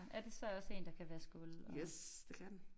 Er det så også en der kan vaske gulv og